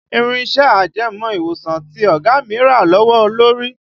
Irin iṣẹ́ ajẹmọ́ ìwòsàn tí ọ̀gá mi rà lówó lórí